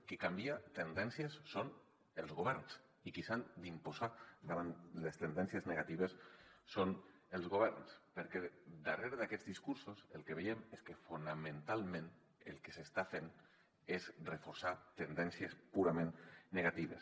qui canvia tendències són els governs i qui s’ha d’imposar davant les tendències negatives són els governs perquè darrere d’aquests discursos el que veiem és que fonamentalment el que s’està fent és reforçar tendències purament negatives